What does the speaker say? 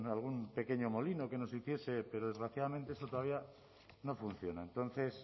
algún pequeño molino que nos hiciese pero desgraciadamente esto todavía no funciona entonces